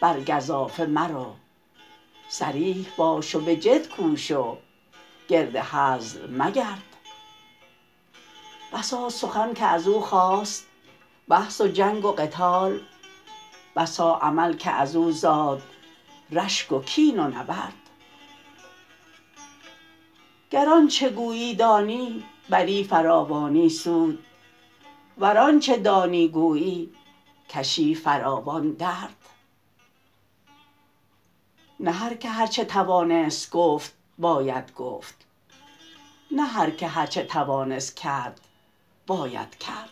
بر گزافه مرو صریح باش و به جد کوش و گرد هزل مگرد بسا سخن که ازو خاست بحث و جنگ و قتال بسا عمل که از او زاد رشگ و کین و نبرد گر آنچه گویی دانی بری فراوان سود ور آنچه دانی گویی کشی فراوان درد نه هرکه هرچه توانست گفت باید گفت نه هرکه هرچه توانست کرد باید کرد